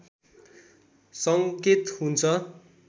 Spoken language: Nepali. सङ्केत हुन्छ